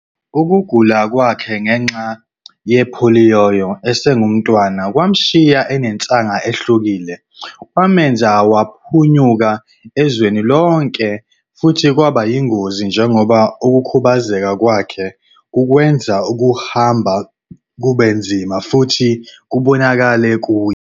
Ukugula kwakhe ngenxa yepholiyo esengumntwana kwamshiya enensaga ehlukile, kwamenza waphunyuka ezweni lonke futhi kwaba yingozi njengoba ukukhubazeka kwakhe kukwenza ukuhamba kube nzima futhi kubonakale kuye.